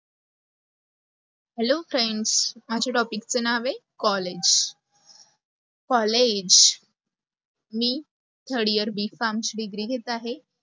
hello friends माझ्या topic च नाव आहे, collage. collage. मी third year B. farm ची degree घेत आहे.